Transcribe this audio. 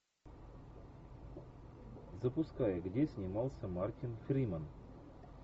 запускай где снимался мартин фримен